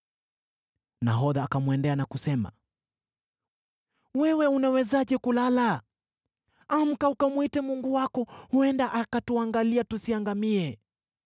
Nahodha akamwendea na kusema, “Wewe unawezaje kulala? Amka ukamwite mungu wako! Huenda akatuangalia, tusiangamie.”